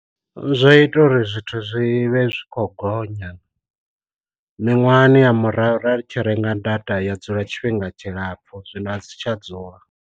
Zwa ita uri zwithu zwi vhe zwi kho gonya, miṅwahani ya murahu ra tshi renga data ya dzula tshifhinga tshilapfhu zwino a dzi tsha dzula.